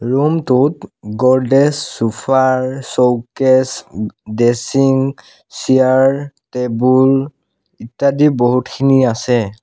Room টোত গদ্ৰেজ চোফাৰ showcase উম ড্ৰেছিং চিয়াৰ টেবুল ইত্যাদি বহুতখিনি আছে।